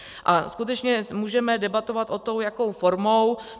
A skutečně můžeme debatovat o tom, jakou formou.